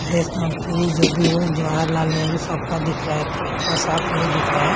देश मंत्री जो भी हों जवाहरलाल नेहरू सबका दिख रहा है थोड़ा-थोड़ा साफ नहीं दिख रहा है।